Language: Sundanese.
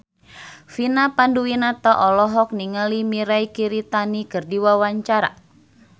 Vina Panduwinata olohok ningali Mirei Kiritani keur diwawancara